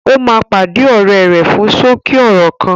Ó máa pàdé ọ̀rẹ́ rẹ fún ṣókí ọ̀rọ̀ kan